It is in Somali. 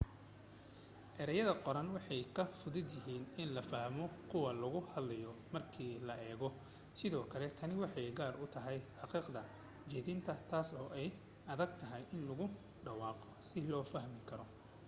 erayada qoran waxay ka fudud yahiin in la fahmo kuwa lagu hadlayo marka loo eego sidoo kale tani waxay gaar u tahay xaqiiqda jeedina taas oo ay adag tahay in lagu dhawaaqo si la fahmi karo